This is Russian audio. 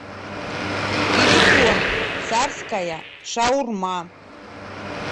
телефон царская шаурма